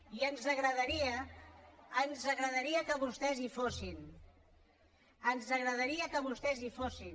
i ens agradaria que vostès hi fossin ens agradaria que vostès hi fossin